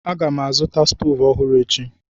Aga m azụta stovu ọhụrụ echi.